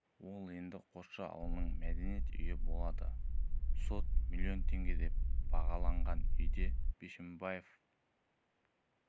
ол енді қосшы ауылының мәдениет үйі болады сот миллион теңге деп бағалаған үйде бишімбаев өзі